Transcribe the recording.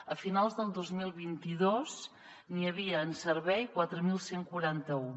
a finals del dos mil vint dos n’hi havia en servei quatre mil cent i quaranta un